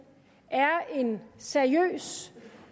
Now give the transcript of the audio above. er en seriøs